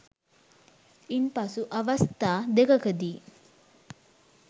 ඉන්පසු අවස්ථා දෙකකදී